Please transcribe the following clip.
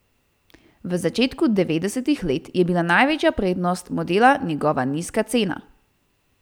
V začetku devedesetih let je bila največja prednost modela njegova nizka cena.